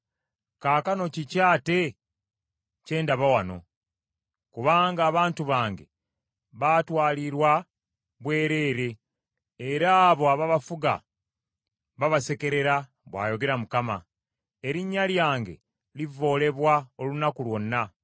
“Kaakano kiki ate kye ndaba wano? “Kubanga abantu bange baatwalirwa bwereere era abo ababafuga babasekerera,” bw’ayogera Mukama . “Erinnya lyange livvoolebwa olunaku lwonna.